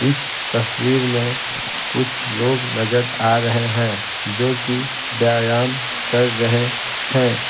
इस तस्वीर में कुछ लोग नजर आ रहे हैं जो कि व्यायाम कर रहे हैं।